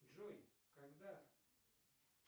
джой когда